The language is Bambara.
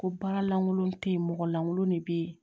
Ko baara lankolon te yen mɔgɔ lankolon de be yen